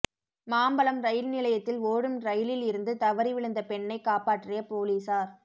Mambalam rail நிலையத்தில் ஓடும் ரயிலில் இருந்து தவறி விழுந்த பெண்ணை காப்பாற்றிய போலீசார்